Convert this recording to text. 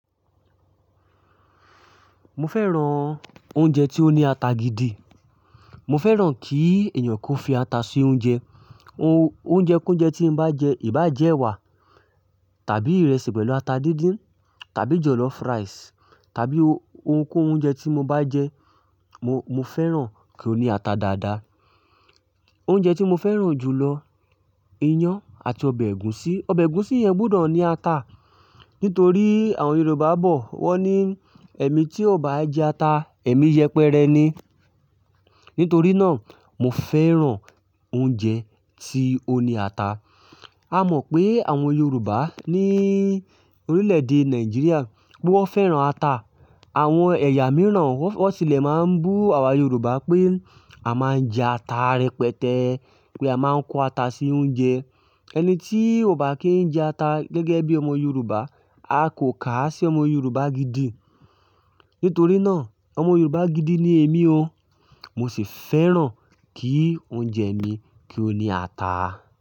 Mo fẹ́ran oúnjẹ tí ó ní ata gidi. Mo fẹ́ran kí èèyàn kó fi ata sí oúnjẹ. Oúnjẹ k'ouńjẹ tí n bá jẹ, ìbàa jẹ́ ẹwà tàbí ìrẹsì pẹ̀lú ata díndín tàbí jọ̀lọ́fú ráìsì tàbí oh-ohunkóhun oúnjẹ tí mo bá jẹ, mo, mo fẹ́ran kí ó ní ata dáadáa. Oúnjẹ tí mo fẹ́ran jù lọ, iyán àti ọbẹ̀ ẹ̀gúsí. Ọbẹ̀ ẹ̀gúsí yẹn gbudọ̀ ní ata. Nítorí àwọn Yorùbá bọ̀, wọ́n ní ẹ̀mí tí ò bá jẹ ata, ẹ̀mí yẹpẹrẹ ni. Nítorí náà, mo fẹ́ran oúnjẹ tí ó ní ata. A mọ̀ pé àwọn Yorùbá ní orílẹ̀-èdè Nàìjíríà pé wọ́n fẹ́ran ata. Àwọn ẹ̀yà mìíràn wọ́n tilẹ̀ máa ń bú àwa Yorùbá pé a máa ń jẹ ata rẹpẹtẹ, pé a máa ń kó ata sí oúnjẹ. Ẹni tí ò bá kí ń jẹ ata gẹ́gẹ́ bí ọmọ Yorùbá, a kò kà á sí ọmọ Yorùbá gidi. Nítorí náà, ọmọ Yorùbá gidi ni èmi o. Mo sì fẹ́ran kí oúnjẹ mi kí ó ní ata.